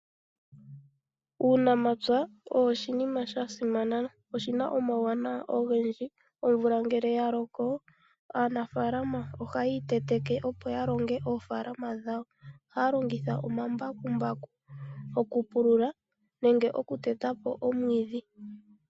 Uunamapya owo oshinima sha simana, oshi na omauwanawa ogendji. Omvula ngele ya loko aanafaalama ohaya iteteke opo ya longe oofaalama dhawo, ohaya longitha omambakumbaku oku pulula nenge oku teta po omwiidhi.